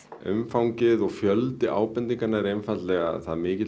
umfangið og fjöldi ábendinganna er einfaldlega það mikill